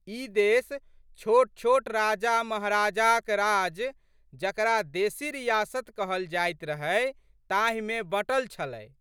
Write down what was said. ई देश छोटछोट राजामहाराजाक राज जकरा देशी रियासत कहल जाइत रहै ताहिमे बँटल छलै।